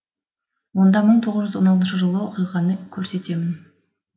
онда мың тоғыз жүз он алтыншы жылғы оқиғаны көрсетемін